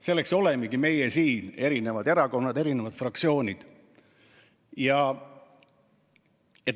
Selleks olemegi meie siin, eri erakonnad, eri fraktsioonid.